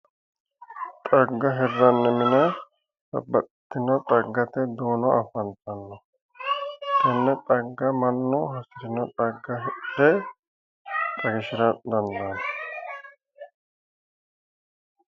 Xagga hirranni mine babbaxxitinoti xaggate duuno afantanno tenne xagga mannu hasirino xagga hidhe hayiishshira dandaanno